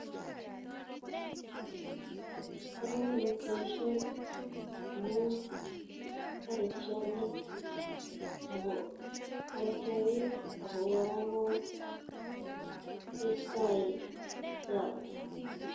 Bo kamanut boisioni amu bore tiongik ako kora ko istoi germs.